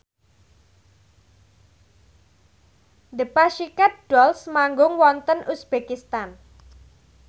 The Pussycat Dolls manggung wonten uzbekistan